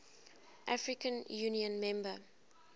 african union member